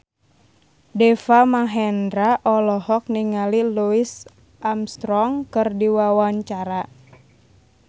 Deva Mahendra olohok ningali Louis Armstrong keur diwawancara